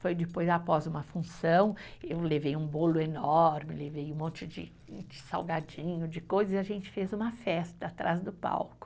Foi depois, após uma função, eu levei um bolo enorme, levei um monte de de salgadinho, de coisas, e a gente fez uma festa atrás do palco.